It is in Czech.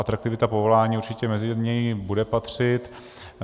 Atraktivita povolání určitě mezi ně bude patřit.